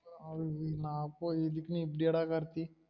என்ன போ, இதுக்குன்னு இப்படியா டா கார்த்தி?